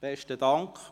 Besten Dank!